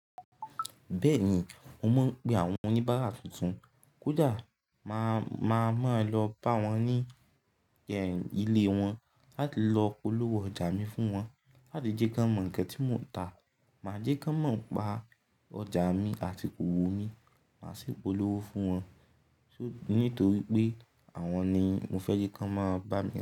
Bẹ́ẹ̀ni, mo mọ̀ pé àwọn oníbárà tuntun kódà máa, máa, máa lọ bá wọn ní yẹn ilé wọn láti lọ polówó ọjà mi fún wọn, láti jẹ́ kí wọ́n mọ nǹkan tí mò ń ta. Máa jẹ́ kaan mo npa ọjà mi àti òwò mi, máa sì polówó fún wọn. Nítorí pé àwọn ni mo fẹ́ jẹ́ kí wọ́n máa bá mi.